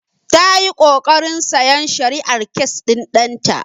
Ta yi ƙoƙarin sayan shari'ar kes ɗin ɗan ta.